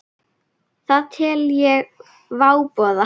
Það tel ég váboða.